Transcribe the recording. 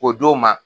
K'o d'o ma